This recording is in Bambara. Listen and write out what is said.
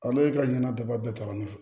Ale ka ɲanaba bɛɛ ta ne fɛ